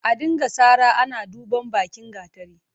A dinga sara ana duban bakin gatari.